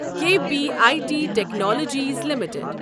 K P I T technologies limited